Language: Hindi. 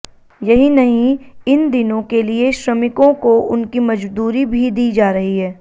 यहीं नहीं इन दिनों के लिए श्रमिकों को उनकी मजदूरी भी दी जा रही है